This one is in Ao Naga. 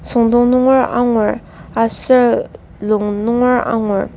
sungtong nunger angur aser long nunger angur.